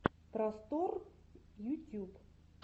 просторъ ютюб